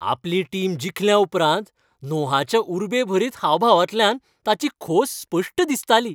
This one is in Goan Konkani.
आपली टीम जिखल्याउपरांत नोहाच्या उर्बेभरीत हावभावांतल्यान ताची खोस स्पश्ट दिसताली.